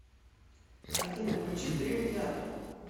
афина включи дрим театр